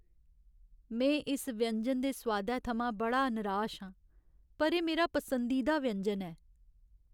में इस व्यंजन दे सोआदै थमां बड़ा नराश आं पर एह् मेरा पसंदीदा व्यंजन ऐ।